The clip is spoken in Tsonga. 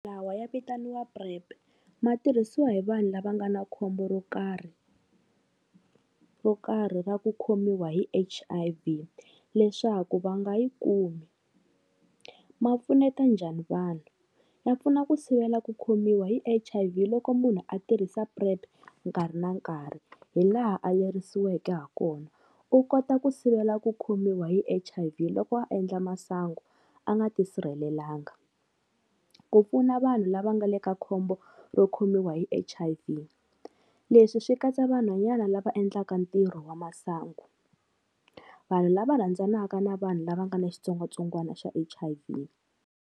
Lawa ya vitaniwa PrEP, ma tirhisiwa hi vanhu lava nga na khombo ro karhi, ro karhi ra ku khomiwa hi H_I_V leswaku va nga yi kumi. Ma pfuneta njhani vanhu? Ya pfuna ku sivela ku khomiwa hi H_I_V loko munhu a tirhisa PrEP nkarhi na nkarhi hi laha a lerisiweke ha kona, u kota ku sivela ku khomiwa hi H_I_V loko a endla masangu a nga ti sirhelelanga. Ku pfuna vanhu lava nga le ka khombo ro khomiwa hi H_I_V, leswi swi katsa vanhwanyana lava endlaka ntirho wa masangu, vanhu lava rhandzanaka na vanhu lava nga ni xitsongwatsongwana xa H_I_V.